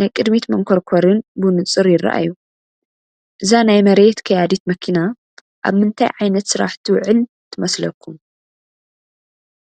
ናይ ቅድሚት መንኮርኮርን ብንጹር ይረኣዩ። እዛ ናይ መሬት ቀያዲት መኪና ኣብ ምንታይ ዓይነት ስራሕ ትውዕል ትመስለኩም?